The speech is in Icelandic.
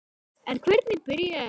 En hvernig byrjaði þetta allt?